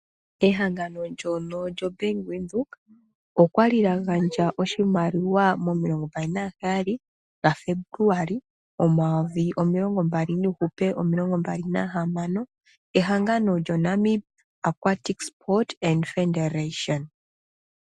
Ehangano ndono lyoBank Windhoek, olya li lya gandja oshimaliwa mo27 Febuluali 2026 kehangano lyoNamibia Aquatic Sport Federation.